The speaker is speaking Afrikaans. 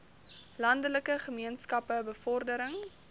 landelike gemeenskappe bevordering